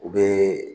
U bɛ